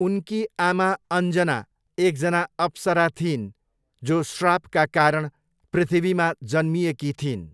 उनकी आमा अञ्जना एकजना अप्सरा थिइन् जो श्रापका कारण पृथ्वीमा जन्मिएकी थिइन्।